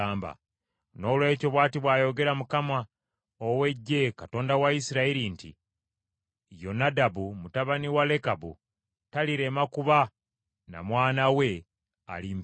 Noolwekyo, bw’ati bw’ayogera Mukama ow’Eggye, Katonda wa Isirayiri nti, ‘Yonadabu mutabani wa Lekabu talirema kuba na mwana we alimpeereza.’ ”